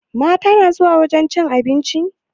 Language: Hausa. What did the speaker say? Mata na zuwa wajen cin abinci?